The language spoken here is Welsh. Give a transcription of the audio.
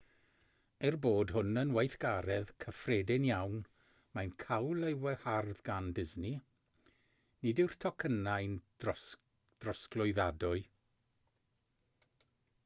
er bod hwn yn weithgaredd cyffredin iawn mae'n cael ei wahardd gan disney nid yw'r tocynnau'n drosglwyddadwy